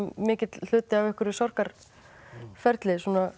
mikill hluti af einhverju sorgarferli